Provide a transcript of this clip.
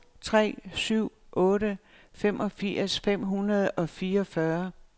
to tre syv otte femogfirs fem hundrede og fireogfyrre